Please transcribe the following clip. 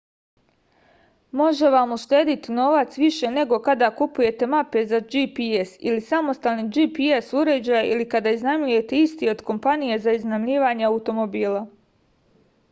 može vam uštedeti novac više nego kada kupujete mape za gps ili samostalni gps uređaj ili kada iznajmljujete isti od kompanije za iznajmljivanje automobila